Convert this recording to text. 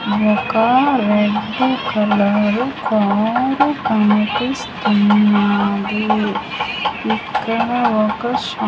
ఒక red colour car కనిపిస్తున్నాది ఇక్కడ ఒక షా --